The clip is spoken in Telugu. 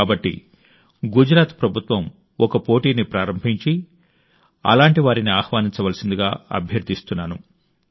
కాబట్టి గుజరాత్ ప్రభుత్వం ఒక పోటీని ప్రారంభించి అలాంటి వారిని ఆహ్వానించవలసిందిగా అభ్యర్థిస్తున్నాను